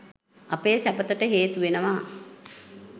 අපේ සැපතට හේතු වෙනවා.